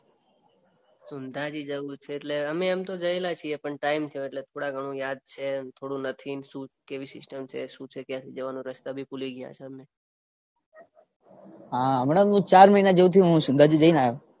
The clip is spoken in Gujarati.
સંધાજી જવું છે અમે એમ તો જયેલા છીએ પણ ટાઈમ થયો એટલે થોડા ઘણું યાદ છે એમ થોડું નથી ને શું કેવી સિસ્ટમ છે શું છે ક્યાંથી જવાનું રસ્તા બી ભૂલી ગયા અમે હા હમણાં ચાર મહિના જેવુ થયું હું સંધાજી જઈને આયો